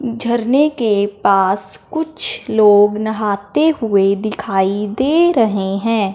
झरने के पास कुछ लोग नहाते हुए दिखाई दे रहे हैं।